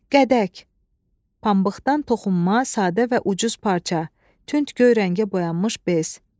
Qədək, pambıqdan toxunma, sadə və ucuz parça, tünd göy rəngə boyanmış bez.